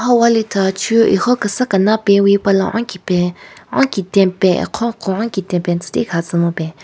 Ha walithachu ekhon kesa kena pewi pala onki pen onkiteng pen akhon kehon ketipen tsu tikaha tsü mupen.